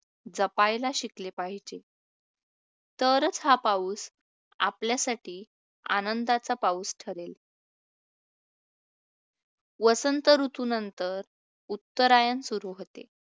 जपायला शिकले पाहिजे, तरच हा पाऊस आपल्यासाठी आनंदाचा पाऊस ठरेल. वसंत ऋतुनंतर, उत्तरायण सुरु होते,